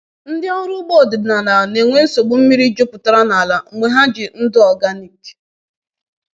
Ndị ọrụ ugbo ọdịnala na-enwe nsogbu mmiri jupụtara n’ala mgbe ha ji ndụ organic.